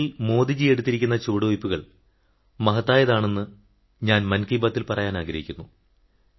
സ്വച്ഛഭാരതിൽ മോദിജിയെടുത്തിരിക്കുന്ന ചുവടുവയ്പ്പുകൾ മഹത്തായതാണെന്ന് ഞാൻ മൻ കീ ബാത്തിൽ പറയാനാഗ്രഹിക്കുന്നു